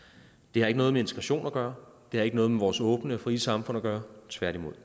det har ikke noget med integration at gøre det har ikke noget vores åbne og frie samfund at gøre tværtimod